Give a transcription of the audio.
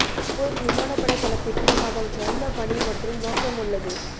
ஒவ்வொரு விமானப்படை தளத்திற்கும் அதன் சொந்த பணி மற்றும் நோக்கம் உள்ளது